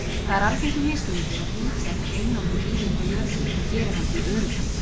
Það er algengur misskilningur að bíldekk einangri bílinn frá jörðu og geri hann því öruggan.